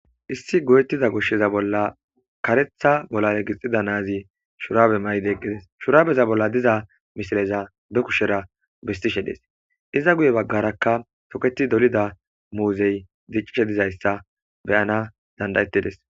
issi go7ettiza goshsheza bolla karetha golare gixida naazi shuraabe mayde eqqides shuraabeza bolla diza misileza be kushera bistishe dees iza guye baggarakka toketi dolida muuzey diccishe dizayssa beyana dandayettides